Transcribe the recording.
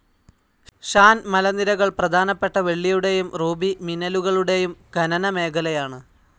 ഷാൻ മലനിരകൾ പ്രാധാനപ്പെട്ട വെള്ളിയുടെയും റൂബി മിനലുകളുടെയും ഖനനമേഖലയാണ്.